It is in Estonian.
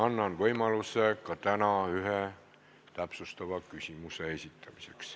Annan ka täna võimaluse ühe täpsustava küsimuse esitamiseks.